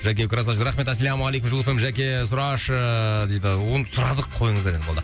жәке рахмет ассалаумағалейкум жұлдыз эф эм жәке сұрашы дейді оны сұрадық қойыңыздар енді болды